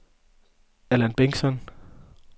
Allan Bengtsson